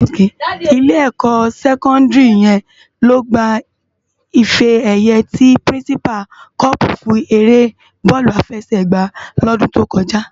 Ilé ékò sèkòndári yèn ló gbá ifè èyë ti pirinsipá còpú fún éré bòlú àfèsègbá lòdún tókòjá